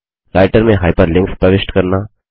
writer में hyperlinks प्रविष्ट करना